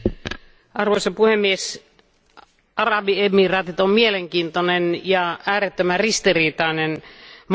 Arvoisa puhemies, Arabiemiraatit on mielenkiintoinen ja äärettömän ristiriitainen maa.